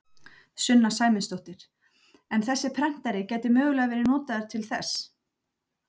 Sunna Sæmundsdóttir: En þessi prentari gæti mögulega verið notaður til þess?